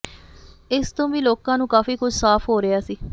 ਇਸ ਤੋਂ ਵੀ ਲੋਕਾਂ ਨੂੰ ਕਾਫੀ ਕੁਝ ਸਾਫ਼ ਹੋ ਰਿਹਾ ਸੀ